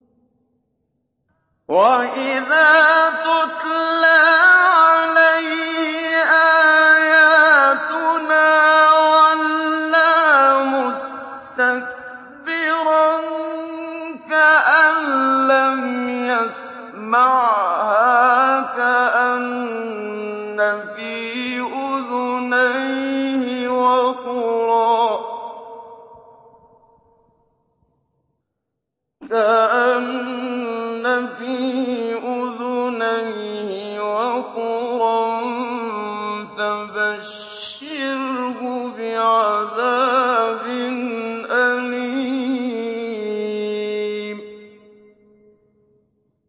وَإِذَا تُتْلَىٰ عَلَيْهِ آيَاتُنَا وَلَّىٰ مُسْتَكْبِرًا كَأَن لَّمْ يَسْمَعْهَا كَأَنَّ فِي أُذُنَيْهِ وَقْرًا ۖ فَبَشِّرْهُ بِعَذَابٍ أَلِيمٍ